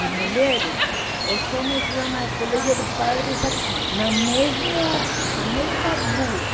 As mulheres, os homens iam ao colégio de padres aqui, na mesmo na mesma rua.